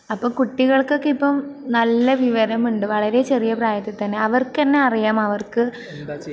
അപ്പൊ കുട്ടികൾക്കൊക്കെ ഇപ്പൊ നല്ല വിവരമുണ്ട്, വളരെ ചെറിയ പ്രായത്തിൽ തന്നെ. അവർക്കന്നെ അറിയാം അവർക്ക്...